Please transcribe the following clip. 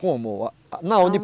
Como a? Não